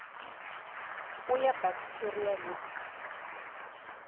o ya baktheria le t